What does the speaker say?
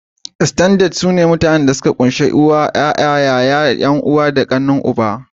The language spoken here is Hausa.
"Extended" sune iyalan da suka kunshi uwa, uba, yara, yayar/kanwar uwa, yaya da kanin uba.